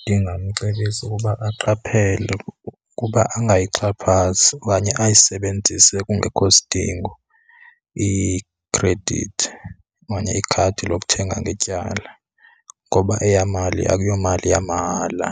Ndingamcebisa ukuba aqaphele ukuba angayixhaphazi okanye ayisebenzise kungekho sidingo ikhredithi okanye ikhadi lokuthenga ngetyala, ngoba eya mali akuyomali yamahala